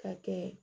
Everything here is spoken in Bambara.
Ka kɛ